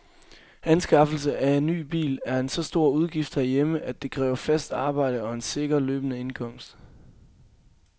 Anskaffelse af ny bil er en så stor udgift herhjemme, at det kræver fast arbejde og en sikker løbende indkomst.